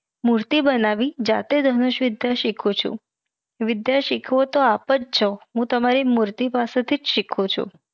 મુર્તિ બનાવી જાતે ધનુષ વિધ્ય સિખું છું. વિધ્ય સિખવો તો આપજ છો હું તમારી મુર્તિ પાસે થીજ સિખું છું.